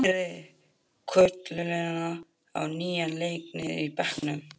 Hann færði koluna á nýjan leik niður í bekkinn.